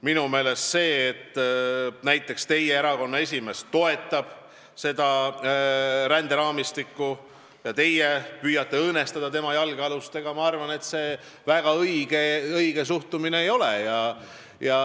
Minu meelest see, et teie erakonna esimees toetab seda ränderaamistikku, aga teie püüate tema jalgealust õõnestada, väga õige suhtumine ei ole.